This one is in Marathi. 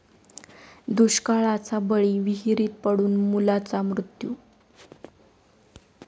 दुष्काळाचा बळी, विहिरीत पडून मुलाचा मृत्यू